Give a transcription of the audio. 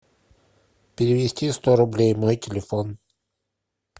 перевести сто рублей мой телефон